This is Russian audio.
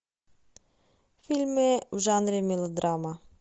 фильмы в жанре мелодрама